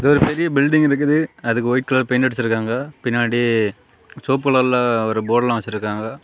ஒரு பெரிய பில்டிங் இருக்குது அதுக்கு ஒயிட் கலர் பெயிண்ட் அடிச்சிருக்காங்க பின்னாடி சோப்பு கலர்ல போர்டுலாம் வச்சிருக்காங்க.